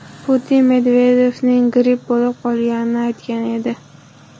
Putin Medvedevning gripp bo‘lib qolganini aytgan edi.